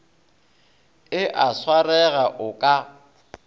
e a swarega o ka